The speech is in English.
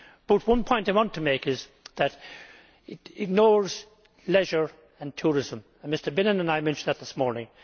But one point I want to make is that it ignores leisure and tourism and Mr Bennion and I mentioned that this morning.